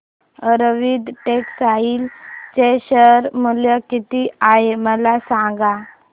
Arvind textile चे share मूल्य किती आहे मला सांगा